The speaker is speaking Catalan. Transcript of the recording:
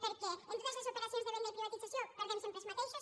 perquè en totes les operacions de venda i privatització perdem sempre els mateixos